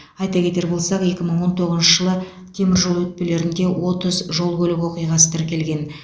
айта кетер болсақ екі мың он тоғызыншы жылы теміржол өтпелерінде отыз жол көлік оқиғасы тіркелген